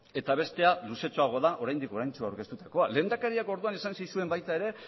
eta bestea luzetxoagoa da oraindik oraintsu aurkeztutakoa lehendakariak orduan esan zizuen baita ere